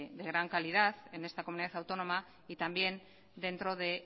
de gran calidad en esta comunidad autónoma y también dentro de